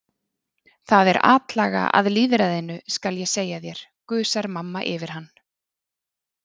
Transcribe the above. Það er atlaga að lýðræðinu, skal ég segja þér, gusar mamma yfir hann.